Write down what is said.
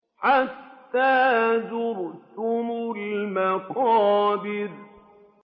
حَتَّىٰ زُرْتُمُ الْمَقَابِرَ